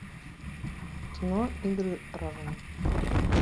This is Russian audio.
кино игры разума